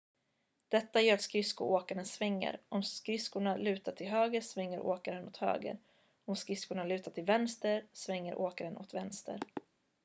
detta gör att skridskoåkaren svänger om skridskorna lutar till höger svänger åkaren åt höger om skridskorna lutar till vänster svänger åkaren åt vänster